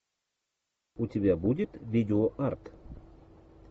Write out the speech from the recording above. у тебя будет видео арт